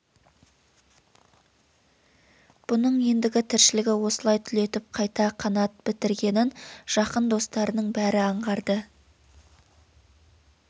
бұның ендігі тіршілігі осылай түлетіп қайта қанат бітіргенін жақын достарының бәрі аңғарды